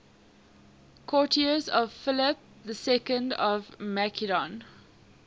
courtiers of philip ii of macedon